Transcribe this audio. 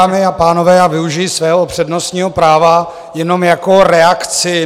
Dámy a pánové, já využiji svého přednostního práva jenom jako reakci.